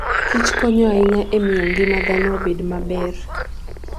kichkonyo ahinya e miyo ngima dhano obed maber.